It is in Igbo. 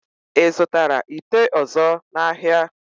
Ị zụtara ite ọ̀zọ́ n'ahịa?